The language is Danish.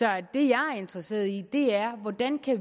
jeg er interesseret i er hvordan